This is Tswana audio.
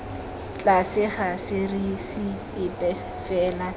tlase ga serisi epe fela